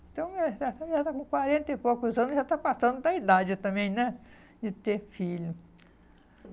Então, já está já está com quarenta e poucos anos, já está passando da idade também, né, de ter filho.